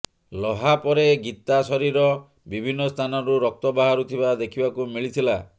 ଲହାପରେ ଗୀତା ଶରୀର ବିଭିନ୍ନ ସ୍ଥାନରୁ ରକ୍ତ ବାହାରୁ ଥିବା ଦେଖିବାକୁ ମିଳିିଥିଲା